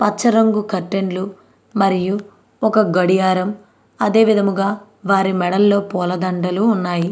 పచ్చ రంగు కర్టైన్లు మరియు ఒక గడియారం అదేవిధముగా వారి మెడల్లో పూల దండలు ఉన్నాయ్.